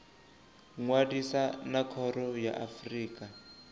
ṅwalisa na khoro ya afrika